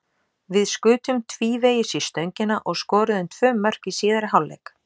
Við skutum tvívegis í stöngina og skoruðum tvö mörk í síðari hálfleik.